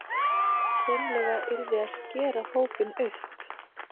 Hreinlega yrði að skera hópinn upp